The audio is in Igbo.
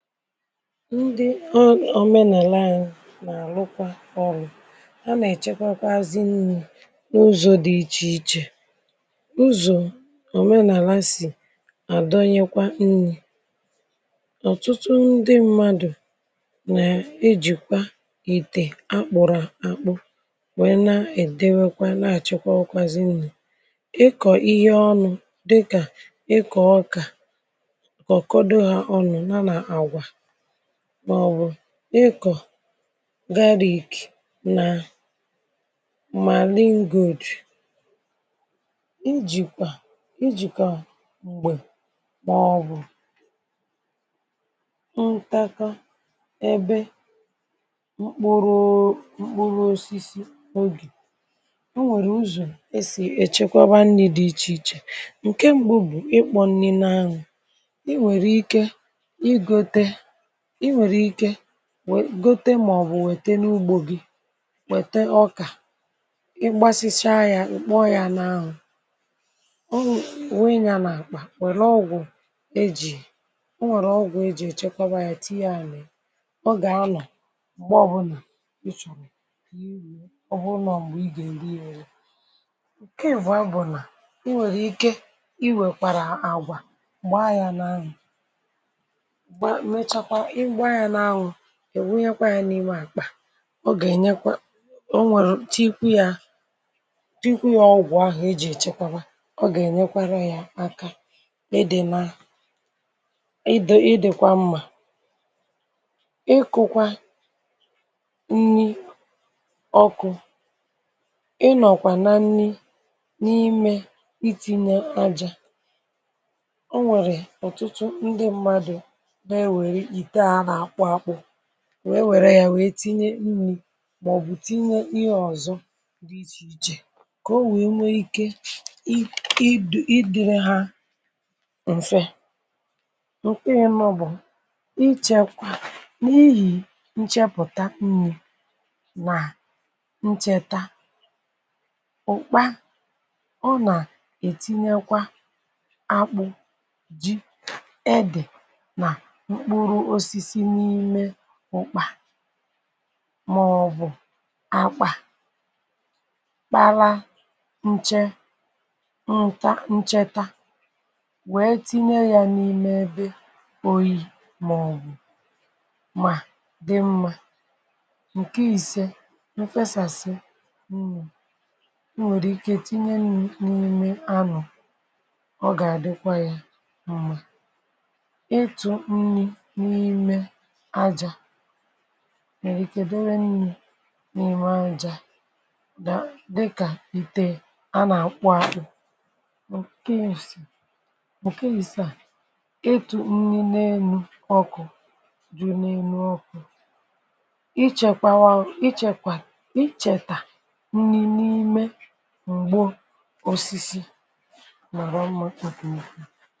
ndị o omenàla anyi nà-àlụkwa ọrụ a nà-èchekwakwazị nni̇ n’ụzọ̇ dị̀ ichè ichè ụzọ̀ omenàla sì àdọnyekwa nni̇ ọ̀tụtụ ndị mmadụ̀ nà-ejìkwa ìtè akpụ̀rụ̀ àkpụ nwèe na-èdewekwa na-àchekwakwazi nni. ịkọ̀ ihe ọnụ̇ dịkà ịkọ̀ ọkà kọ̀kọ̀do ha ọ̀nụ ya na agwa màọbụ̀ ịkọ̀ garlic nà ma lindo ijìkwà ijìkwà m̀gbè màọbụ̀ ntakȧ ebe mkpụrụ mkpụrụ osisi ogè o nwèrè ụzọ̀ èsì èchekwaba nni̇ dị ichè ichè ǹke m̀gbè bụ̀ ịkpọ̇ nni nȧ anwụ̇ i nwèrè ike ị gote ị nwèrè ike gote màọbụ̀ wète n’ugbȯ gị wète ọkà ịgbasicha ya ịkpọọ ya n’anwụ̀ wunye ya n’àkpà wère ọgwụ̀ ejì onwère ọgwụ̀ ejì èchekwaba ya tinye ya n’ịya o gà-anọ̀ m̀gbè ọbụnà ịchọ̀rọ ka iwee ọ bụrụ nà ọ̀ mgbè i gà ere ya ere nke ịbụa bụ na ịnwere ike ị wèkwàrà àgwà gbaa ya n'anwu mechakwa igba ya n'anwu iwunyekwaya n’ime àkpà ọ gà-ènyekwa o nwèrè tinyekwa ya tinyekwa ya ọgwụ̀ ahụ̀ ejì èchekwaba ọ gà-ènyekwara ya aka ịdị mma ịdịkwa mmà ịkụ̇kwa nni ọkụ̇ ịnọ̀kwà na nni n’ime ị ti̇nye aja onwere ọtụ̀tụ̀ ndị mmadu na ewe ite a, a n'akpu akpu wèe wère ya wèe tinye nri̇ màọbụ̀ tinye ihe ọ̀zọ di ichè ichè kà o wèe nwee ike ịdịrị ha m̀fe ǹkwẹnyẹ maọ̀bụ̀ ichẹkwa n’ihì nchepụ̀ta nri̇ nà nchètȧ ụ̀kpa ọ nà ètinyekwa akpụ̇ ji̇, ede na mkpuru osisi n'ime ùkpa màọbụ̀ akpà kpara nche nta ncheta wèe tinye ya n’ime ebe oyi̇ màọbụ̀ mà dị mmȧ ǹkè ise nkwėsàsị nni̇ nwèrè ike tinye nni̇ n’ime anụ̀ ọ gà-àdịkwa ya mmȧ ichu nni n'ime ajà nà nni nà ìme ajà dịkà ìtè a nà-àkpu akpụ̇ ǹke ǹke ịsaa ịtụ̀ nni nà-enu ọkụ̇ dị nà-enu ọkụ̇ ichèkwawa ichèkwà ichètà nni n’ime m̀gbo osisi mara mma nke ukwuu.